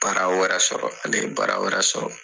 Baara wɛrɛ sɔrɔ ale ye baara wɛrɛ sɔrɔ.